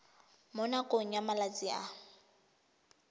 mo nakong ya malatsi a